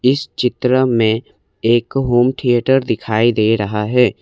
इस चित्र में एक होम थिएटर दिखाई दे रहा है।